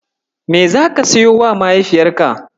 Me zaka siyowa mahaifiyarka?